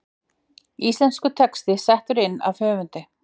Íslenskur texti settur inn af höfundi.